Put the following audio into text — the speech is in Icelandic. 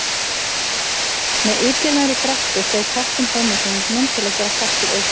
Með illilegri grettu steig kappinn fram úr hringnum til að gera kastið ógilt.